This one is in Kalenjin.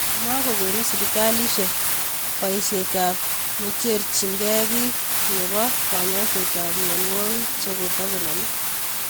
Makokonu sibitaliisiek bayiisyetaab necherchinkey biik nebo konyooiseetab myonwokik chekotakonaame